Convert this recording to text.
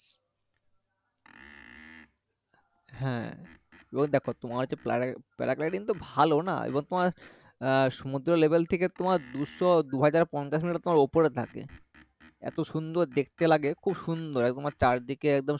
হ্যাঁ ওই দেখো তোমার হচ্ছে paragliding তো ভালো না এবার তোমার এর সমুদ্র লেবেল থেকে তোমার দুশো দুহাজার পঞ্চাশ meter তোমার উপরে থাকে এতো সুন্দর দেখতে লাগে খুব সুন্দর একদম চারদিকে একদম সবুজ